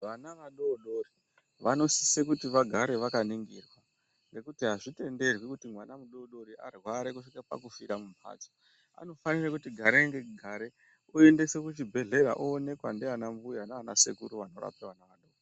Vana vadodori vanosisa vagare vakaningurwa nekuti azvitenderwi kuti varware kusvika pakufira mumbatso vanofana kuti garei nerugare vaendese kuchibhedhlera oonekwa nana mbuya nana sekuru vanorapa vana vadodori.